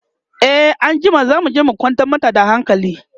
e anjima zamuje mu kwantar mata da hankali